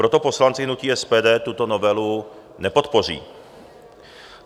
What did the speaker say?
Proto poslanci hnutí SPD tuto novelu nepodpoří.